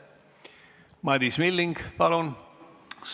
Madis Milling, palun!